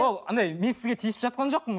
ол анадай мен сізге тиісіп жатқан жоқпын